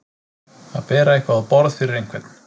Að bera eitthvað á borð fyrir einhvern